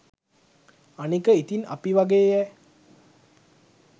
අනික ඉතින් අපි වගේයැ